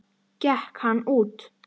Gekk hann út.